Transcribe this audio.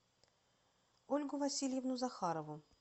ольгу васильевну захарову